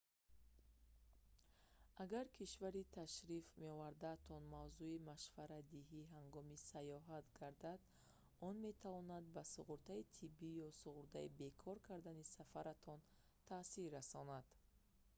агар кишвари ташриф меовардаатон мавзӯи машваратдиҳӣ ҳангоми сайёҳат гардад он метавонад ба суғуртаи тиббӣ ё суғуртаи бекор кардани сафаратон таъсир расонад